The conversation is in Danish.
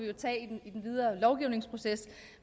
vi tage i den videre lovgivningsproces